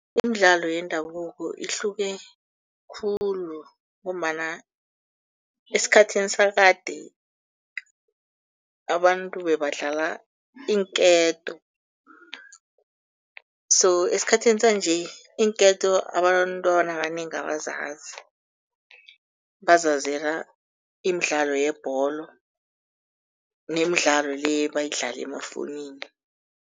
Imidlalo yendabuko ihluke khulu ngombana esikhathini sakade, abantu bebadlala iinketo so esikhathini sanje iinketo abantwana abanengi abazazi, bazazela imidlalo yebholo nemidlalo le ebayidlala amafowunini.